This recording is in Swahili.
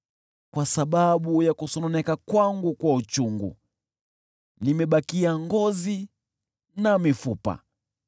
Kwa sababu ya kusononeka kwangu kwa uchungu, nimebakia ngozi na mifupa.